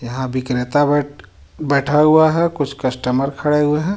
यहां विक्रेता बैठ बैठा हुआ है कुछ कस्टमर खड़े हुए हैं.